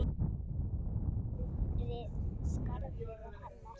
Skarðið er hennar.